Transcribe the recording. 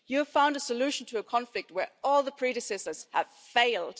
You have found a solution to a conflict where all predecessors have failed.